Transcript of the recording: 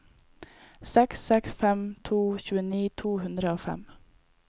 seks seks fem to tjueni to hundre og fem